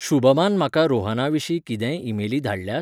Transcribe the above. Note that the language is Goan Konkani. शुभमान म्हाका रोहना विशीं कितेंय ईमेली धाडल्यात?